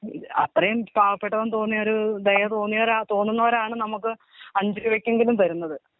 അത്രയോ പാവപ്പെട്ടവൻ തോന്നിയ രു ദയ തോന്നിയ തോന്നുന്നവരാണ് നമ്മക്ക് അഞ്ച് രൂപക്കെങ്കിലും തരുന്നത്.